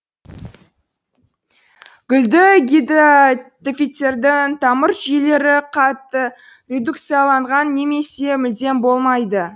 гүлді гидатофиттердің тамыр жүйелері қатты редукцияланған немесе мүлдем болмайды